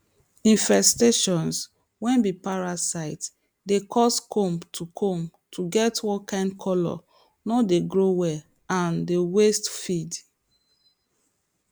infestation way be parasite dey cause comb to comb to get one kind colour no dey grow well and dey waste feed